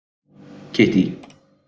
Kittý